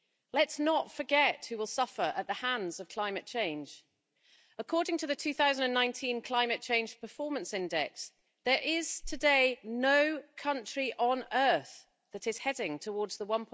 Let's not forget who will suffer at the hands of climate change. According to the 2019 Climate Change Performance Index, there is today no country on earth that is heading towards the